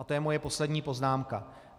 A to je moje poslední poznámka.